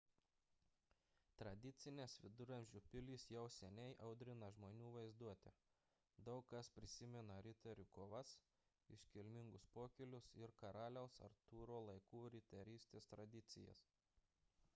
tradicinės viduramžių pilys jau seniai audrina žmonių vaizduotę – daug kas prisimena riterių kovas iškilmingus pokylius ir karaliaus artūro laikų riterystės tradicijas